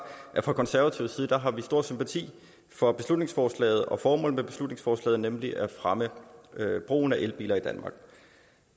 at fra konservativ side har vi stor sympati for beslutningsforslaget og formålet med beslutningsforslaget nemlig at fremme brugen af elbiler i danmark